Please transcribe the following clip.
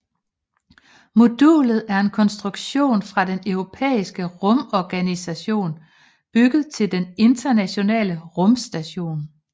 Modulet er en konstruktion fra den Den Europæiske Rumorganisation bygget til Den Internationale Rumstation